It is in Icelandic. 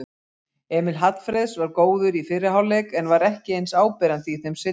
Emil Hallfreðs var góður í fyrri hálfleik en var ekki eins áberandi í þeim seinni.